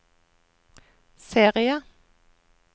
serie